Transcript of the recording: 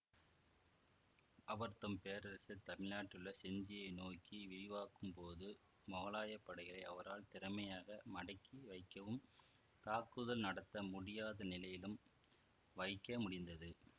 அவர் தம் பேரரசை தமிழ்நாட்டில் உள்ள செஞ்சியை நோக்கி விரிவாக்கும் போது மொகலாய படைகளை அவரால் திறமையாக மடக்கி வைக்கவும் தாக்குதல் நடத்த முடியாதநிலையிலும் வைக்க முடிந்தது